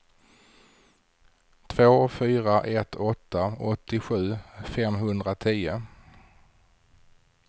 två fyra ett åtta åttiosju femhundratio